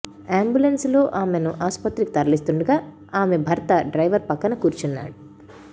ambulance లో ఆమెని ఆసుపత్రికి తరలిస్తుండగా ఆమె భర్త డ్రైవర్ పక్కన కూర్చున్నాడు